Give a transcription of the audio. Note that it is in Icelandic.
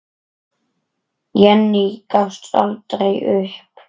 Jenný gafst aldrei upp.